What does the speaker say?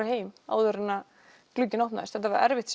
heim áður en glugginn opnaðist þetta var erfitt